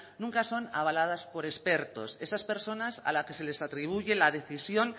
nunca son avaladas por expertos esas personas a las que se les atribuye la decisión